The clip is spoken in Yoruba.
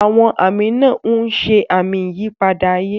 Àwọn àmì náà ń ṣe àmì ìyípadà ayé.